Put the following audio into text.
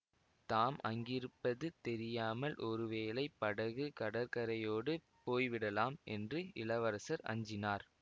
தாம் அங்கிருப்பது தெரியாமல் ஒருவேளை படகு கடற்கரையோடு போய்விடலாம் என்று இளவரசர் அஞ்சினார்